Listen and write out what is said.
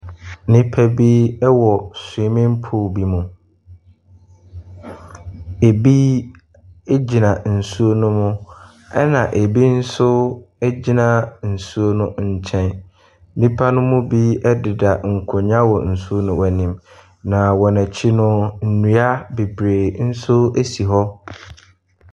Nnipa bi ɛwɔ swimming pool bi mu. Ebi gyina nsuo no mu ɛna ebi nso egyina nsuo no nkyɛn. Nnipa no mu bi ɛdeda nkonnwa wɔ nsuo no anim na wɔn akyi no, nnua bebree nso esi hɔ.